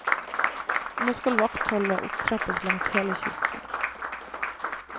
Nå skal vaktholdet opptrappes langs hele kysten.